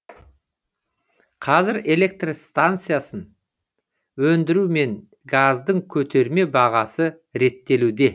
қазір электр энергиясын өндіру мен газдың көтерме бағасы реттелуде